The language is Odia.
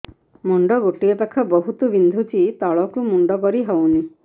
ମୁଣ୍ଡ ଗୋଟିଏ ପାଖ ବହୁତୁ ବିନ୍ଧୁଛି ତଳକୁ ମୁଣ୍ଡ କରି ହଉନି